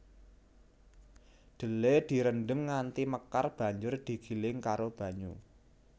Dhelè direndhem nganti mekar banjur digiling karo banyu